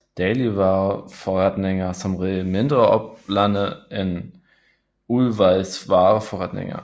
Dagligvareforretninger har som regel mindre oplande end udvalgsvareforretninger